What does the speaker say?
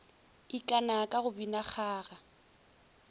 ikana ka go bina kgaga